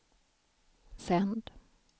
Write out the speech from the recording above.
sänd